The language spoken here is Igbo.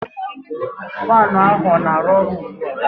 Faan ahu ọ na-aru ọru ugbua?